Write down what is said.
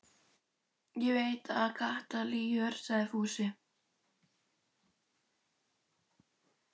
Ég veit að Kata lýgur, sagði Fúsi.